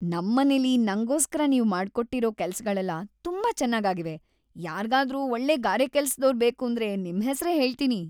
ನಮ್‌ ಮನೇಲಿ ನಂಗೋಸ್ಕರ ನೀವ್ ಮಾಡ್ಕೊಟ್ಟಿರೋ ಕೆಲ್ಸಗಳೆಲ್ಲ ತುಂಬಾ ಚೆನ್ನಾಗಾಗಿವೆ, ಯಾರ್ಗಾದ್ರೂ ಒಳ್ಳೆ ಗಾರೆಕೆಲ್ಸದೋರ್‌ ಬೇಕೂಂದ್ರೆ ನಿಮ್ಹೆಸ್ರೇ ಹೇಳ್ತೀನಿ.